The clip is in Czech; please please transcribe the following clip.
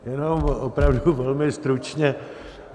Jenom opravdu velmi stručně.